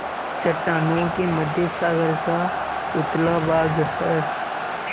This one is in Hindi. चट्टानों के मध्य सागर का उथला भाग है